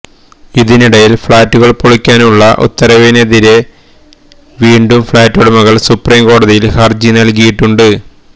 ഇതിനിടയില് ഫ്ളാറ്റുകള് പൊളിക്കാനുള്ള ഉത്തരവിനെതിരെ വീണ്ടും ഫ്ളാറ്റുടമകള് സുപ്രിം കോടതിയില് ഹരജി നല്കിയിട്ടുണ്ട്